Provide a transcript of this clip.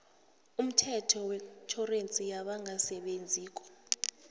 umthetho wetjhorensi yabangasebenziko